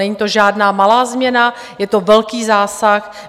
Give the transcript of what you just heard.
Není to žádná malá změna, je to velký zásah.